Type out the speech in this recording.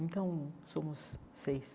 Então, somos seis.